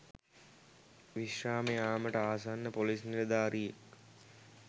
විශ්‍රාම යාමට ආසන්න පොලිස් නිලධාරියෙක්